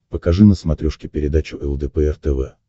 покажи на смотрешке передачу лдпр тв